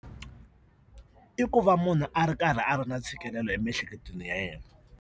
I ku va munhu a ri karhi a ri na ntshikelelo emiehleketweni ya yena.